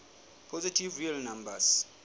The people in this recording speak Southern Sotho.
positive real numbers